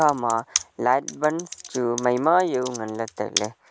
ama light buns chu maima jao ngan ley tailey.